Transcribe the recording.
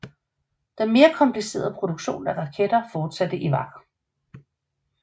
Den mere komplicerede produktion af raketter fortsatte i Vach